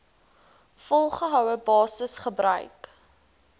volgehoue basis gebruik